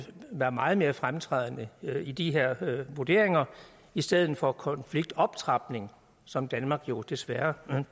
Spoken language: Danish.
være meget mere fremtrædende i de her vurderinger i stedet for konfliktoptrapning som danmark jo desværre